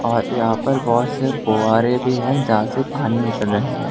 यहां पर बहोत से फव्वारे भी है जहां से पानी निकल रहे--